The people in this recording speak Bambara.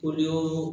Olu y'o